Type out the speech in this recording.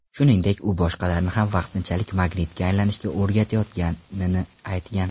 Shuningdek, u boshqalarni ham vaqtinchalik magnitga aylanishga o‘rgatayotganini aytgan.